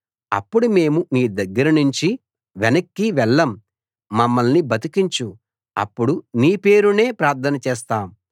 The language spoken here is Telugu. అప్పుడు మేము నీ దగ్గరనుంచి వెనక్కి వెళ్ళం మమ్మల్ని బతికించు అప్పుడు నీ పేరునే ప్రార్థన చేస్తాం